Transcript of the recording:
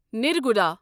نرگوڑا